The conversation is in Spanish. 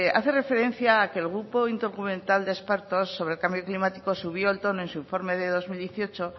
hace referencia a que el grupo intergubernamental de expertos sobre el cambio climático subió el tono en su informe del dos mil dieciocho